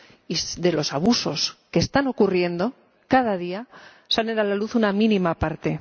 Y de los abusos que están ocurriendo cada día salen a la luz una mínima parte.